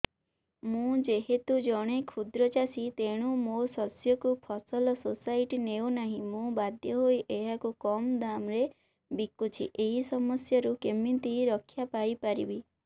ମୁଁ ଯେହେତୁ ଜଣେ କ୍ଷୁଦ୍ର ଚାଷୀ ତେଣୁ ମୋ ଶସ୍ୟକୁ ଫସଲ ସୋସାଇଟି ନେଉ ନାହିଁ ମୁ ବାଧ୍ୟ ହୋଇ ଏହାକୁ କମ୍ ଦାମ୍ ରେ ବିକୁଛି ଏହି ସମସ୍ୟାରୁ କେମିତି ରକ୍ଷାପାଇ ପାରିବି